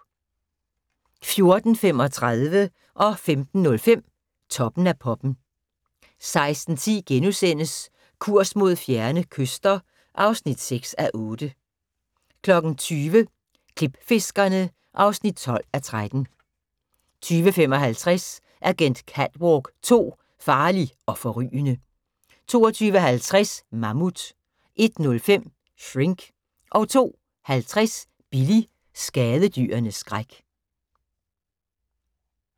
14:35: Toppen af poppen 15:05: Toppen af poppen 16:10: Kurs mod fjerne kyster (6:8)* 20:00: Klipfiskerne (12:13) 20:55: Agent Catwalk 2: Farlig og forrygende 22:50: Mammut 01:05: Shrink 02:50: Billy – skadedyrenes skræk